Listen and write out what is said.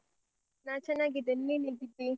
ನಾನ್ ಚನ್ನಾಗಿದ್ದೇನೆ. ನೀನ್ ಹೇಗಿದ್ದೀ?